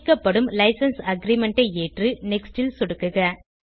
கேட்கப்படும் licence agreement ஐ ஏற்று நெக்ஸ்ட் ல் சொடுக்குக